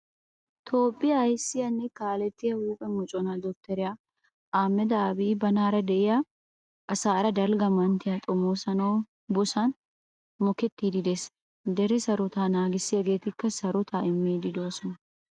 Toophphiyaa aysiyaanne kalettiya huphphe mocona Dokteriya Ahmada Abiy banaara deiyaa asaara dalga manttiya xomosuwawu bosan mokettidi de'ees. Dere sarotetta naagisagetti sarotta immidi deosona.